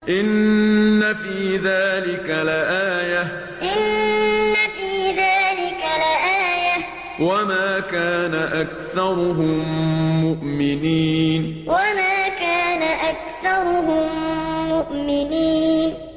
إِنَّ فِي ذَٰلِكَ لَآيَةً ۖ وَمَا كَانَ أَكْثَرُهُم مُّؤْمِنِينَ إِنَّ فِي ذَٰلِكَ لَآيَةً ۖ وَمَا كَانَ أَكْثَرُهُم مُّؤْمِنِينَ